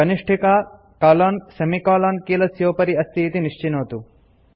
कनिष्ठिका colon semicolon कीलस्योपरि अस्तीति निश्चिनोतु